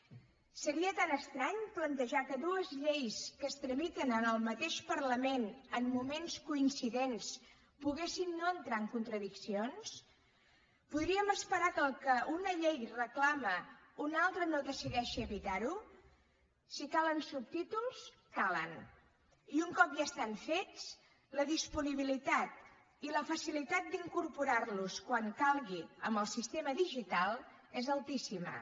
seria tan estrany plantejar que dues lleis que es tramiten en el mateix parlament en moments coincidents poguessin no entrar en contradiccions podríem esperar que el que una llei reclama una altra no decideixi evitar ho si calen subtítols calen i un cop ja estan fets la disponibilitat i la facilitat d’incorporar los quan calgui amb el sistema digital és altíssima